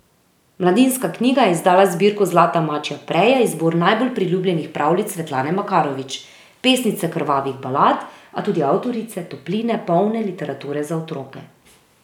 Mladinska knjiga je izdala zbirko Zlata mačja preja, izbor najbolj priljubljenih pravljic Svetlane Makarovič, pesnice krvavih balad, a tudi avtorice topline polne literature za otroke.